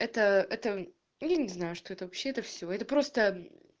это это я не знаю что это вообще это все это просто мм